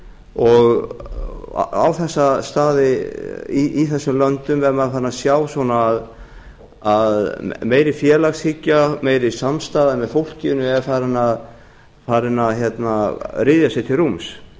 og á þessum stöðum í þessum löndum er maður farinn að sjá að meiri félagshyggja meiri samstaða með fólkinu er farin að ryðja sér til rúms og